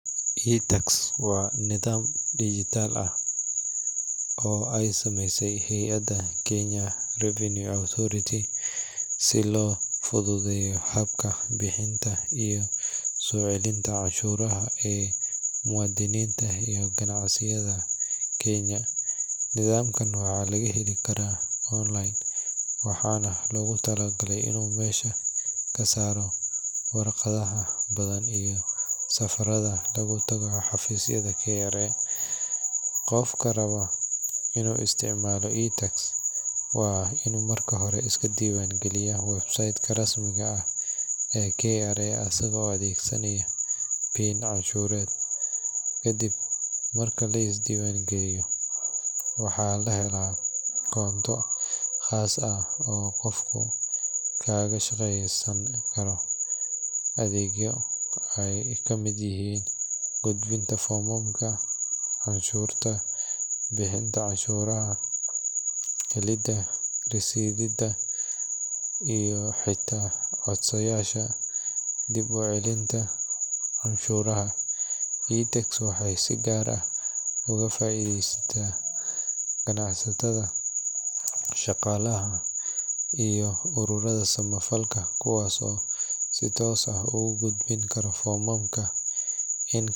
Waa nidaam oo aay sameyse hayada Kenya, si loo fududeeyo habka bixinta, waxaa loogu tala galay inuu ka saaro waraqadaha badan, qofka wa inuu is diiban galiyo, waxaa la helaa adeegyo aay kamid yihiin gudbinta iyo bixintaa cashuraha, helinta rashidaha, waxeey ka faideesata shaqalaha iyo aruurada.